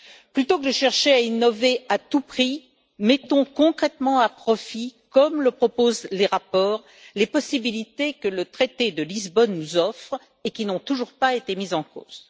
Plutôt que de chercher à innover, à tout prix, mettons concrètement à profit, comme le proposent les rapports, les possibilités que le traité de Lisbonne nous offre, et qui n'ont toujours pas été mises en cause.